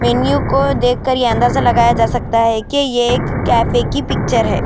کو دیکھیں یہ اندازہ لگایا جا سکتا ہے یہ کیفیت کی پکچر ہے.